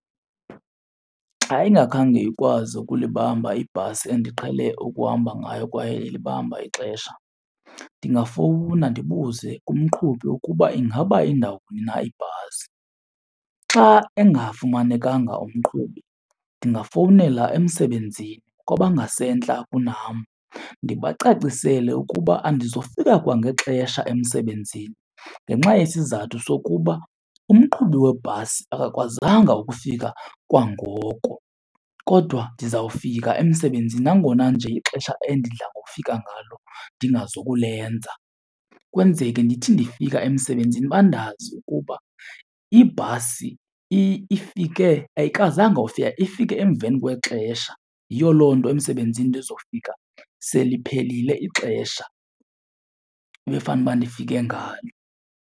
Xa ingakhange ikwazi ukulibamba ibhasi endiqhele ukuhamba ngayo kwaye ilibamba ixesha, ndingafowuna ndibuze kumqhubi ukuba ingaba indawoni na ibhasi. Xa engafumanekanga umqhubi ndingafowunela emsebenzini kwabangasentla kunam ndibacacisele ukuba andizofika kwangexesha emsebenzini ngenxa yesizathu sokuba umqhubi webhasi akakwazanga ukufika kwangoko, kodwa ndizawufika emsebenzini nangona nje ixesha endidla ngokufika ngalo ndingazokulenza. Kwenzeke ndithi ndifika emsebenzini bandazi ukuba ibhasi ifike, ayikwazanga ufika ifike emveni kwexesha yiyo loo nto emsebenzini ndizofika seliphelile ixesha ebefanuba ndifike ngalo.